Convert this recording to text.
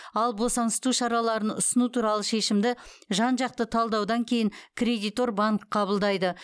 ал босаңсыту шараларын ұсыну туралы шешімді жан жақты талдаудан кейін кредитор банк қабылдайды